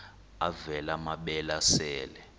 avela amabele esel